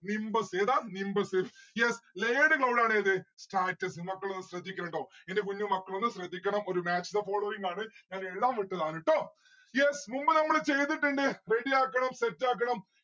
nimbus ഏതാ nimbus. yes. layered cloud ആണ് ഏത് stratus മക്കൾ ഒന്ന് ശ്രദ്ധിക്കണം ട്ടോ. എന്റെ കുഞ്ഞ് മക്കളൊന്ന് ശ്രദ്ധിക്കണം ഒരു match the following ആണ്. ഞാൻ എഴുതാൻ വിട്ടതാണ് ട്ടോ yes മുൻപ് നമ്മള് ചെയ്തിട്ടിണ്ട് ready ആക്കണം. set ആക്കണം.